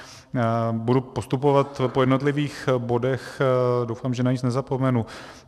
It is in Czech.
Budu postupovat po jednotlivých bodech, doufám, že na nic nezapomenu.